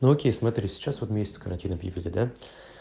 ну окей смотри сейчас вот месяц картина объявили да